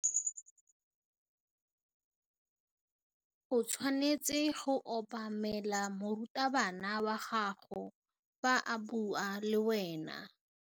O tshwanetse go obamela morutabana wa gago fa a bua le wena.